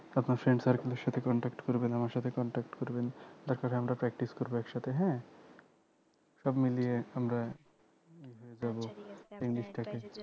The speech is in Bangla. আপনার friend circle এর সাথে contact করবেন আমার সাথে contact করবেন তারপরে আমরা practice করবো একসাথে হ্যাঁ সব মিলিয়ে আমরা ইয়ে হয়ে যাবো